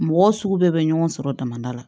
Mɔgɔ sugu bɛɛ bɛ ɲɔgɔn sɔrɔ damada la